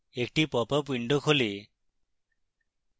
একটি popup window খোলে